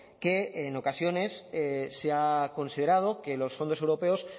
que en ocasiones se ha considerado que los fondos europeos